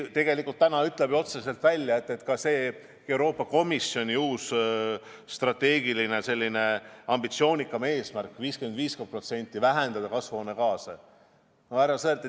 Euroopa Komisjoni uus strateegiline ambitsioonikas eesmärk on vähendada kasvuhoonegaase 50%.